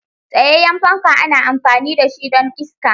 Tsayayyen fanka ana amfani da shi don iska.